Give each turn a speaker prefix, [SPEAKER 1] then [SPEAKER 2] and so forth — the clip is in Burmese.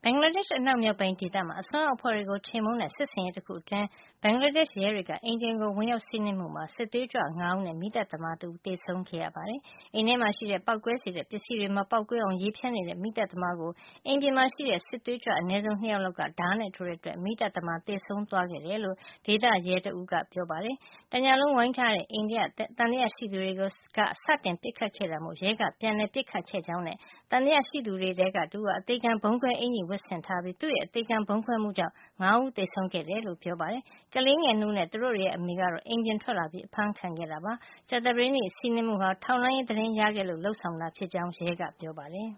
[SPEAKER 1] င်္ဂလားဒေ့ရှ် အနောက်မြောက်ပိုင်းဒေသမှာ အစွန်းရောက်အဖွဲ့တွေကို ချေမှုန်းတဲ့ စစ်ဆင်ရေး တခုမှာ ဘင်္ဂလားဒေ့ရှ် ရဲတွေက အိမ်တအိမ်ကို ဝင်ရောက် စီးနင်းမှုအတွင်း စစ်သွေးကြွ ၅ ဦးနဲ့ မီးသတ်သမား တဦး သေဆုံးခဲ့ရတယ်လို့ ရဲကပြောပါတယ်။ အိမ်ထဲမှာ ရှိနေတဲ့ ပေါက်ကွဲစေတတ်တဲ့ ပစ္စည်းတွေကို မပေါက်ကွဲအောင် ရေဖျန်းနေတဲ့ မီးသတ်သမားကို အိမ်ပြင်မှာ ရှိတဲ့ စစ်သွေးကြွ အနည်းဆုံး ၂ ယောက်လောက်က ဓါးနဲ့ ထိုးတဲ့ အတွက် မီးသတ်သမား သေဆုံးသွားခဲ့တယ်လို့ Rajshahi ဒေသက ရဲတဦးဖြစ်တဲ့ Hifjul Alam Munshi က ပြောပါတယ်။ ဒီစီးနင်းမှုမှာ တခြားရဲ အများအပြားလည်း ဒဏ်ရာတွေ ရခဲ့တာပါ။ တညလုံး ဝိုင်းထားတဲ့ အိမ်ထဲကနေ သံသယရှိသူတွေက စတင်ပစ်ခတ်ခဲ့တာမို့ ရဲက ပြန်လည်ပစ်ခတ်ခဲ့ကြောင်းနဲ့ သံသယရှိသူတွေထဲက တဦးဟာ အသေခံဗုံးခွဲ အင်္ကျ ီဝတ်ဆင်ထားပြီး သူ့ရဲ့ အသေခံဗုံးခွဲမှုကြောင့် ၅ ယောက်စလုံး သေဆုံးခဲ့တယ်လို့လည်း ပြောပါတယ်။ ကလေးငယ် ၂ ဦးနဲ့ သူတို့တွေရဲ့ အမေကတော့ အိမ်ပြင်ထွက်လာပြီး အဖမ်းခံခဲ့တာ ဖြစ်ပါတယ်။ ကြာသပတေးနေ့ စီးနင်းမှုဟာ ထောက်လှန်းရေး သတင်းရခဲ့လို့ လုပ်ဆောင်တာဖြစ်ကြောင်း ရဲက ပြောပါတယ်။